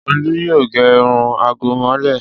Olú yóò gẹ irun àgẹ̀mọ́lẹ̀.